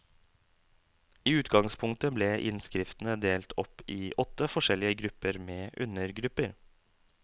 I utgangspunktet ble innskriftene delt opp i åtte forskjellige grupper med undergrupper.